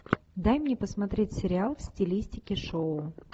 дай мне посмотреть сериал в стилистике шоу